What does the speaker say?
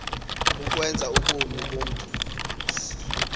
ukwenza ubomi bomntu